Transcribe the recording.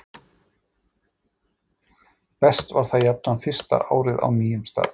Best var það jafnan fyrsta árið á nýjum stað.